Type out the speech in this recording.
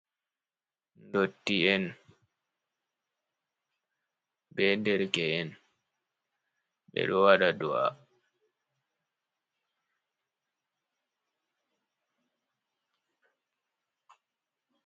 Ndotti'en be derke'en ɓedo waɗa do'a.